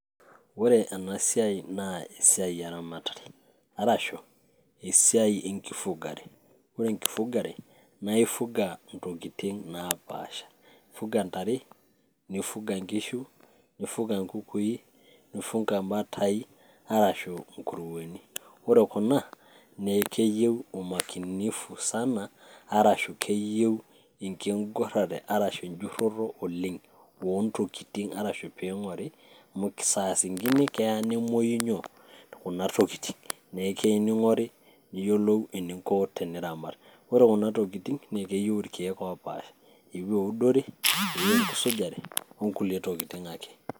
ore ena siai naa esiai eramatare arashu esiai enkifugare ore enkifugare naa ifuga ntokitin napaasha ifuga intare, nifuga inkishu, nifuga inkukui, nifunga imbatai arashu inkurueni ore kuna nekeyieu umakinifu sana arashu keyieu enkigurrare arashu enjurroto oleng ontokitin arashu ping'ori amu saa zingine keya nemuoyu nyoo? kuna tokitin nekei ning'ori niyiolou eninko teniramat ore kuna tokitin naa ekeyieu irkeek opaasha eyieu eudore, eyieu enkisujare onkulie tokitin ake.